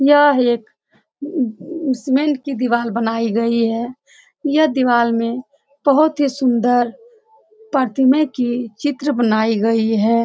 यह एक हम्म इस मेल की दिवाल बनाई गई है। यह दिवाल में बोहोत ही सुंदर प्रतिमे की चित्र बनाई गई है।